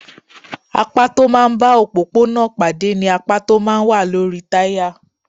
Apá tó máa ń bá òpópónà pàdé ni apá tó máa ń wà lórí táyà.